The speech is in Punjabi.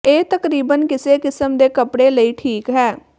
ਇਹ ਤਕਰੀਬਨ ਕਿਸੇ ਕਿਸਮ ਦੇ ਕੱਪੜੇ ਲਈ ਠੀਕ ਹੈ